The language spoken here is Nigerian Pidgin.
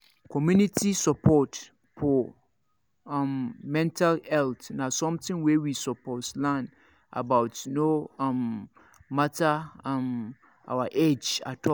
community support for um mental health na something wey we suppose learn about no um matter um our age at all